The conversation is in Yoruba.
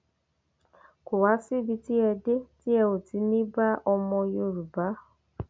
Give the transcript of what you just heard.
kò wá síbi tí ẹ dé tí ẹ ò ti ní í bá ọmọ yorùbá